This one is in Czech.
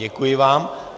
Děkuji vám.